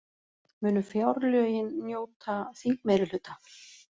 Munu fjárlögin njóta þingmeirihluta